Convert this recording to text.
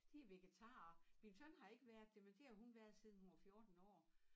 De vegetarer min søn har ikke været det men det har hun været siden hun var 14 år